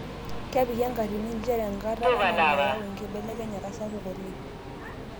Kepiki enkatini njere enkata ena nayaua enkibelekenyata sapuk oleng'